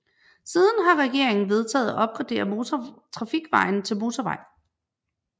Siden har regeringen vedtaget at opgradere motortrafikvejen til motorvej